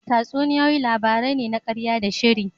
Tatsuniyoyi labarai ne na ƙarya da sahiri.